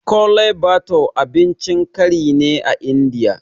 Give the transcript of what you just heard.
Kole bathure abincin kari ne a Indiya